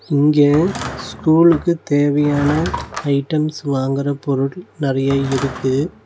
இங்க ஸ்கூலுக்கு தேவையான ஐட்டம்ஸ் வாங்குற பொருள் நறைய இருக்கு.